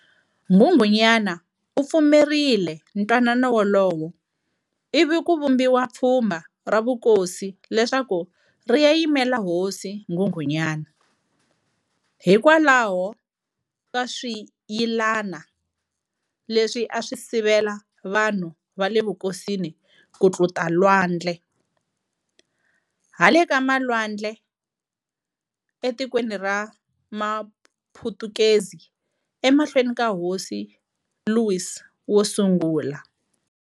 Nghunghunyana u pfumerile ntwanano wolowo ivi ku vumbiwa pfhmba ra vukosi leswaku ri ya yimela Hosi Nghunghunyana, Hikwalaho kaswiyilana leswi a swi sivela vanhu vale vukosini ku tluta lwandle, hale ka malwadle e tikweni ra Maphutukezi, e mahlweni ka Hosi Louis wosungula.